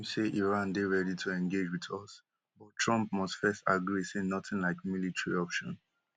im say iran dey ready to engage wit us but trump must first agree say nothing like military option